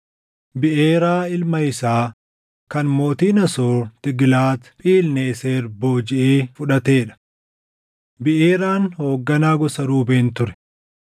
Biʼeeraa ilma isaa kan mootiin Asoor Tiiglaat-Philneeser boojiʼee fudhatee dha. Beʼeeraan hoogganaa gosa Ruubeen ture.